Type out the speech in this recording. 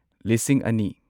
ꯂꯤꯁꯤꯡ ꯑꯅꯤ